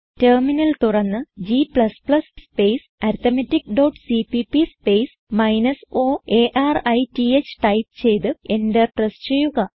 terminal തുറന്ന് g space arithmetic dot CPP space minus o arith type ചെയ്ത് enter press ചെയ്യുക